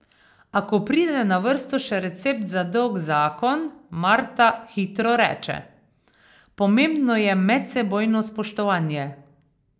A ko pride na vrsto še recept za dolg zakon, Marta hitro reče: 'Pomembno je medsebojno spoštovanje.